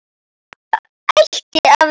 Eða ætti að vera það.